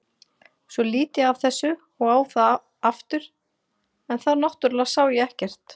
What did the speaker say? Svo lít ég af þessu og á það aftur en þá náttúrlega sá ég ekkert.